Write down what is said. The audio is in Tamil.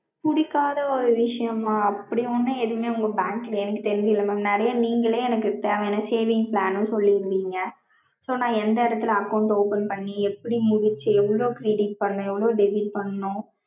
புடிக்காத ஒரு விஷயமா. அப்படி ஒன்னும் எதுமே உங்க bank ல எனக்கு தெரிஞ்சு இல்ல mam. நீங்களே எனக்கு தேவையான saving plan னும் சொல்லிருக்கீங்க. so நா எந்த எடத்துல account open பண்ணி, எப்படி முடிச்சு, எவ்ளோ credit பண்ணனும், எவ்ளோ debit பண்ணனும்